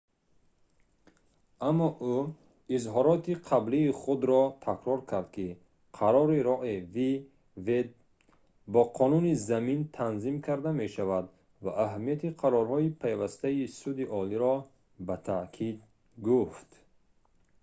аммо ӯ изҳороти қаблии худро такрор кард ки қарори roe v wade бо қонуни замин танзим карда мешавад ва аҳамияти қарорҳои пайвастаи суди олиро ба таъкид гуфт